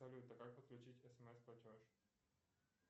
салют как подключить смс платеж